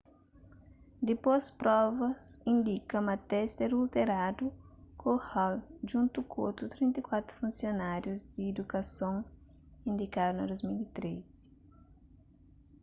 dipôs provas indika ma testi adulteradu ku hall djuntu ku otu 34 funsionárius di idukason indikadu na 2013